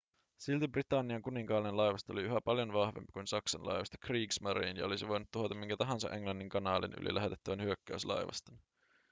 silti britannian kuninkaallinen laivasto oli yhä paljon vahvempi kuin saksan laivasto kriegsmarine ja olisi voinut tuhota minkä tahansa englannin kanaalin yli lähetettävän hyökkäyslaivaston